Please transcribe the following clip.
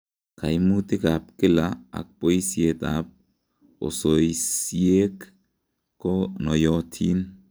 Kaimutik ab kila ak boisiet ab osoisiek ko noiyotin